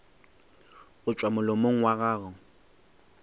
go tšwa molomong wa gago